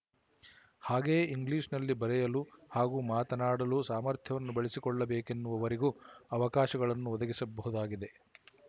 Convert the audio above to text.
ಹಾಗೆಯೇ ಇಂಗ್ಲಿಶ‍ನಲ್ಲಿ ಬರೆಯಲು ಹಾಗೂ ಮಾತನಾಡಲು ಸಾಮರ್ಥ್ಯವನ್ನು ಬೆಳೆಸಿಕೊಳ್ಳಬೇಕೆನ್ನುವವರಿಗೂ ಅವಕಾಶಗಳನ್ನು ಒದಗಿಸಬಹುದಾಗಿದೆ